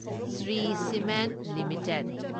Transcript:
Shri cement limited